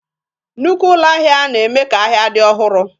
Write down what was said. Nnukwu ụlọ ahịa na-eme ka ahịa dị ọhụrụ